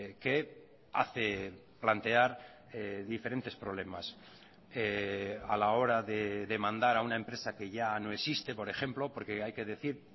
que hace plantear diferentes problemas a la hora de demandar a una empresa que ya no existe por ejemplo porque hay que decir